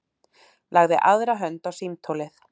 Lagði aðra hönd á símtólið.